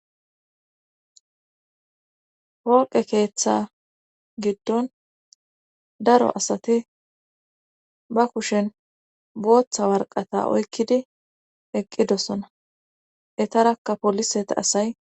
hpoqe keeththa giddon daro asati ba kushen booththa warqata oykkidi eqqidosona etarakkapoliseta asay